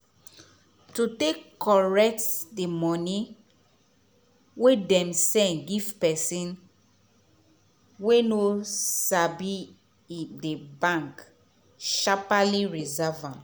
to take correct the money wey dem send give pesin wey no sabi the bank sharpaly reserve am.